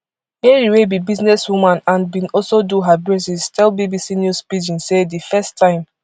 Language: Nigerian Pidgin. mary wey be businesswoman and bin also do her braces tell bbc news pidgin say di first time